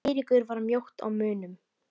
Eiríkur var mjótt á munum?